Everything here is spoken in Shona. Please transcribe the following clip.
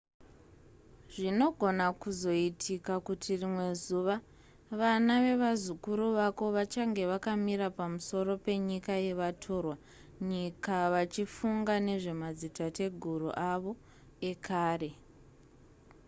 zvinogona kuzoitika kuti rimwe zuva vana vevazukuru vako vachange vakamira pamusoro penyika yevatorwa nyika vachifunga nezvemadzitateguru avo ekare